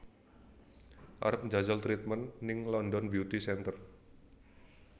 Arep njajal treatment ning London Beauty Center